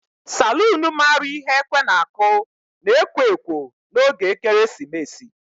Salun maara ihe ekwe na-aku na ekwo ekwo n'oge ekeresimesi.